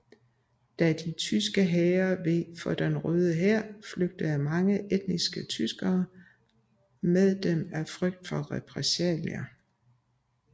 Da de tyske hære veg for den Røde Hær flygtede mange etniske tyskere med dem af frygt for repressalier